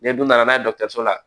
N'i dun nana n'a ye dɔkɔtɔrɔso la